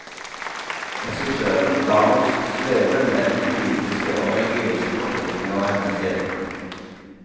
Regissøren lar oss sveve mellom politiske og religiøse fortolkninger av hennes skjebne.